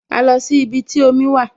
A lọ sí ibi tí omi wà